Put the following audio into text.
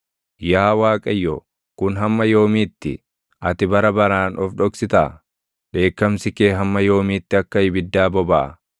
Yaa Waaqayyo, kun hamma yoomiitti? Ati bara baraan of dhoksitaa? Dheekkamsi kee hamma yoomiitti akka ibiddaa bobaʼa?